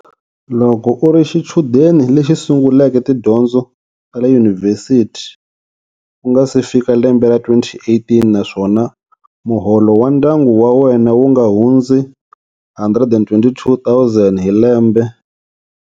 Loko u ri xichudeni lexi sunguleke tidyondzo ta le yunivhesiti ku nga si fika lembe ra 2018 naswona muholo wa ndyangu wa wena wu nga hundzi R122 000 hi lembe.